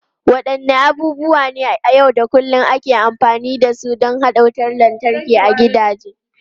Wadanne abubuwa na yau da kullun ake amfani da su don haɗa wutar lantarki a gidaje?